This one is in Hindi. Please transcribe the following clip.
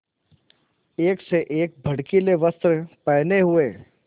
एक से एक भड़कीले वस्त्र पहने हुए